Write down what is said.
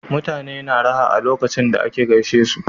Uutane na raha a lokacon da aka gaishe su